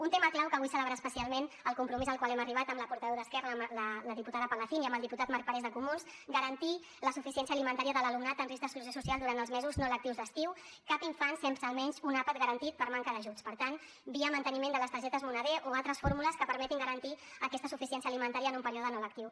un tema clau que vull celebrar especialment el compromís al qual hem arribat amb la portaveu d’esquerra la diputada palacín i amb el diputat marc parés de comuns garantir la suficiència alimentària de l’alumnat amb risc d’exclusió social durant els mesos no lectius d’estiu cap infant sense almenys un àpat garantit per manca d’ajuts per tant via manteniment de les targetes moneder o altres fórmules que permetin garantir aquesta suficiència alimentària en un període no lectiu